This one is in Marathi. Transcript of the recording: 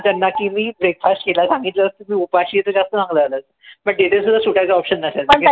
त्यांना की मी breakfast केला सांगितलं असत मी उपाशी आहे त जास्त चांगलं झालं असत पण सुटायचं option